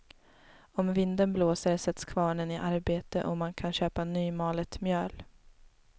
Om vinden blåser sätts kvarnen i arbete och man kan köpa nymalet mjöl.